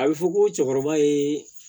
A bɛ fɔ ko cɛkɔrɔba ye